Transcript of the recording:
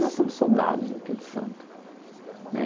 Nós somos soldados daquele santo né.